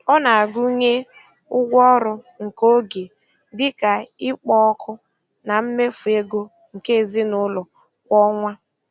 Ọ na-agụnye ụgwọ ọrụ nke oge, dị ka ikpo ọkụ, na mmefu ego nke ezinụụlọ kwa ọnwa.